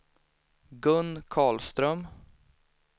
Gun Karlström